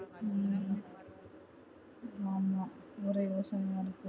ஹம் ஆமா நிறைய யோசனையை இருக்கு